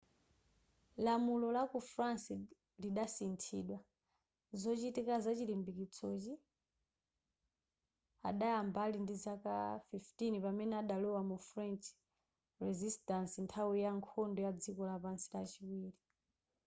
lamulo la ku france lidasinthidwa zochitika zachilimbikitsozi adayamba ali ndizaka 15 pamene adalowa mu french resistance nthawi ya nkhondo ya dziko lapansi yachiwiri